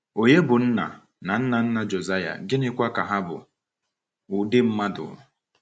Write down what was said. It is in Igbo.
Ònye bụ nna na nna nna Josiah, gịnịkwa ka ha bụ ụdị mmadụ?